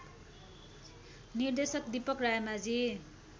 निर्देशक दीपक रायमाझी